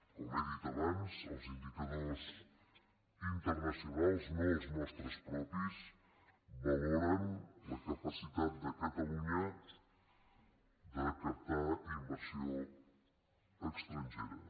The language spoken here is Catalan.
com he dit abans els indicadors interna·cionals no els nostres propis valoren la capacitat de catalunya de captar inversió estrangera